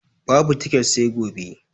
Babu tiket sai gobe.